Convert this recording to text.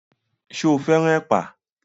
Ṣo fẹ́ràn ẹ̀pà?